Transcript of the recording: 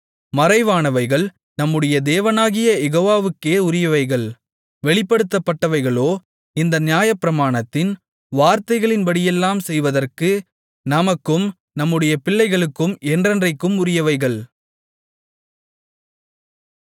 மறைவானவைகள் நம்முடைய தேவனாகிய யெகோவாவுக்கே உரியவைகள் வெளிப்படுத்தப்பட்டவைகளோ இந்த நியாயப்பிரமாணத்தின் வார்த்தைகளின்படியெல்லாம் செய்வதற்கு நமக்கும் நம்முடைய பிள்ளைகளுக்கும் என்றென்றைக்கும் உரியவைகள்